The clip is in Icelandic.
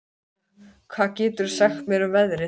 Ásynja, hvað geturðu sagt mér um veðrið?